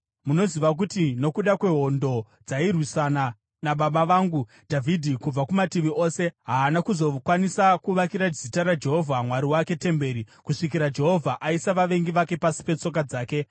“Munoziva kuti nokuda kwehondo dzairwisana nababa vangu Dhavhidhi kubva kumativi ose, haana kuzokwanisa kuvakira Zita raJehovha Mwari wake temberi, kusvikira Jehovha aisa vavengi vake pasi petsoka dzake.